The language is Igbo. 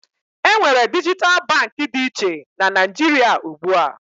Enwere dijital Baankị dị iche na Naijiria ugbua